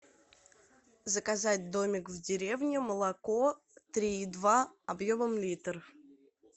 заказать домик в деревне молоко три и два объемом литр